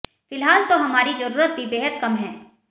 फिलहाल तो हमारी जरूरत भी बेहद कम है